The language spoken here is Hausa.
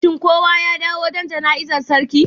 shin kowa ya dawo don jana'izar sarki?